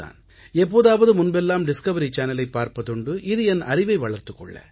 எப்போதாவது முன்பெல்லாம் டிஸ்கவரி சேனலைப் பார்ப்பதுண்டு இது என் அறிவை வளர்த்துக் கொள்ள